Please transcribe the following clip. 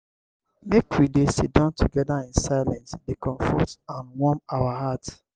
make we dey sidon together in silence dey comfort and warm our hearts.